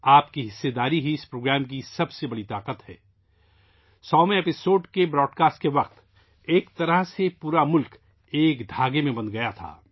آپ کی شرکت اس پروگرام کی سب سے بڑی قوت ہے، 100ویں ایپیسوڈ کے نشر ہونے کے وقت ایک طرح سے پورا ملک ایک دھاگے میں بندھ گیا تھا